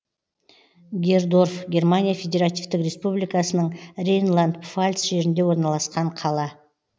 гердорф германия федеративтік республикасының рейнланд пфальц жерінде орналасқан қала